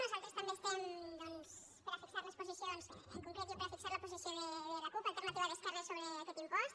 nosaltres també estem doncs per a fixar les posicions en concret jo per a fixar la posició de la cup alternativa d’esquerres sobre aquest impost